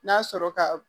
N'a sɔrɔ ka